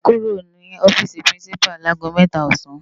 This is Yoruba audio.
Á kúró no òfisi pirinsipá lagó mètá òsán